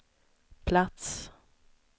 plats